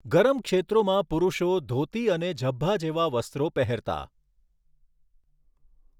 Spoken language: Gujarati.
ગરમ ક્ષેત્રોમાં પુરૂષો ધોતી અને ઝભ્ભા જેવા વસ્ત્રો પહેરતા.